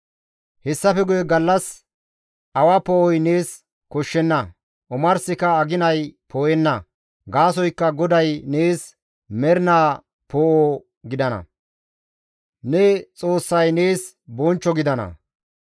«Hessafe guye gallas awa poo7oy nees koshshenna; omarsika aginay poo7enna; gaasoykka GODAY nees mernaa poo7o gidana; ne Xoossay nees bonchcho gidana.